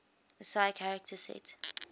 ascii character set